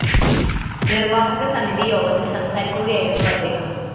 നിര്‍വാഹക സമിതി യോഗത്തില്‍ സംസാരിക്കുകയായിരുന്നു അദ്ദേഹം